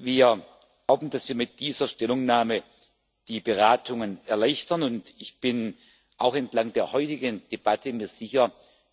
Wir glauben, dass wir mit dieser Stellungnahme die Beratungen erleichtern, und ich bin mir auch entlang der heutigen Debatte sicher